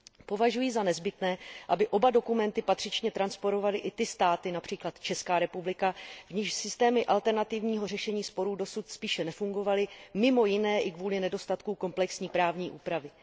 Považuji za nezbytné, aby oba dokumenty patřičně transponovaly i ty státy, například Česká republika, v nichž systémy alternativního řešení sporů dosud spíše nefungovaly, mimo jiné i kvůli nedostatku komplexní právní úpravy.